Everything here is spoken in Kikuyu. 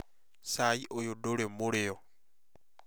Cai ũyũ ndũrĩ mũrĩo